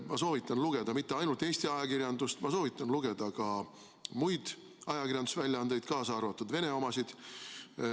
Ma soovitan lugeda mitte ainult Eesti ajakirjandust, vaid ma soovitan lugeda ka muid ajakirjandusväljaandeid, kaasa arvatud Venemaa omasid.